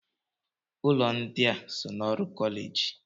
Ụlọ ndị a so n'ọrụ kọleji?